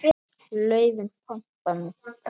Laufin pompa með pragt.